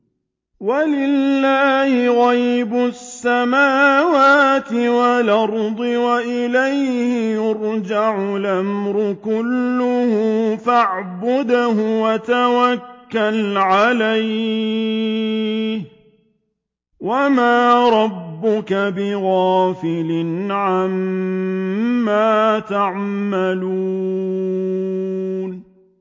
وَلِلَّهِ غَيْبُ السَّمَاوَاتِ وَالْأَرْضِ وَإِلَيْهِ يُرْجَعُ الْأَمْرُ كُلُّهُ فَاعْبُدْهُ وَتَوَكَّلْ عَلَيْهِ ۚ وَمَا رَبُّكَ بِغَافِلٍ عَمَّا تَعْمَلُونَ